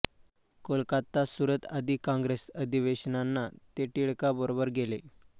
कोलकाता सुरत आदी काँग्रेस अधिवेशनांना ते टिळकांबरोबर गेले